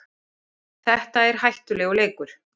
Þetta er hættulegur leikur